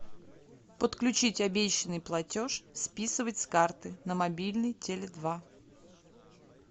подключить обещанный платеж списывать с карты на мобильный теле два